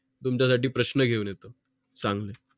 तुमचा साठी प्रश्न घेऊन येतो चांगले